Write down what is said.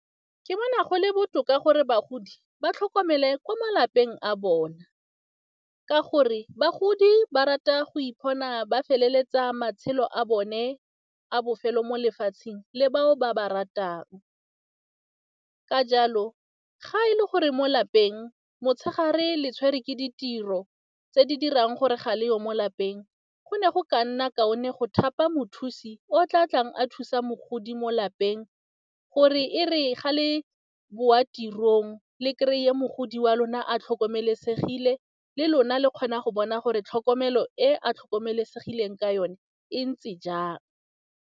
Ke bona gole botoka gore bagodi ba tlhokomele ko malapeng a bona ka gore bagodi ba rata go ipona ba feleletsa matshelo a bone a bofelo mo lefatsheng le bao ba ba ratang, ka jalo ga e le gore mo lapeng motshegare le tshwere ke ditiro tse di dirang gore ga le yo mo lapeng go ne go ka nna kaone go thapa mothusi o tla tlang a thusa mogodi mo lapeng gore e re ga le boa tirong le kry-e mogodi wa lona a tlhokomelesegile le lona le kgona go bona gore tlhokomelo e a tlhokomelesegileng ka yone e ntse jang.